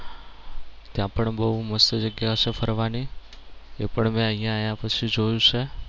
ત્યાં પણ બવ મસ્ત જગ્યા છે ફરવાની. એ પણ મે અહિયાં આયા પછી જોયું છે.